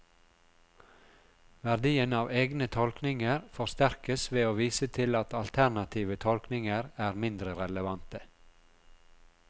Verdien av egne tolkninger forsterkes ved å vise til at alternative tolkninger er mindre relevante.